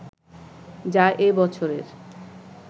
যা এ বছরের